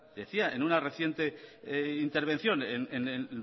decía en una reciente intervención en el